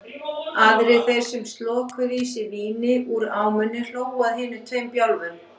Aðrir þeir sem slokuðu í sig víni úr ámunni hlógu að hinum tveim bjálfum.